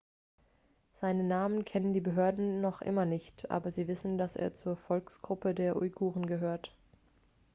seinen namen kennen die behörden noch immer nicht aber sie wissen dass er zur volksgruppe der uiguren gehört